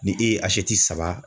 Ni e ye saba